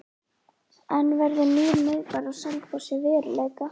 En verður nýr miðbær á Selfossi að veruleika?